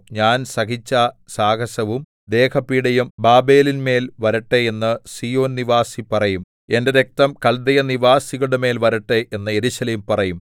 ഞാൻ സഹിച്ച സാഹസവും ദേഹപീഡയും ബാബേലിന്മേൽ വരട്ടെ എന്ന് സീയോൻനിവാസി പറയും എന്റെ രക്തം കല്ദയ നിവാസികളുടെമേൽ വരട്ടെ എന്ന് യെരൂശലേം പറയും